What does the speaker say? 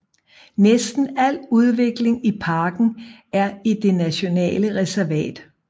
Næsten al udvikling i parken er i det nationale reservat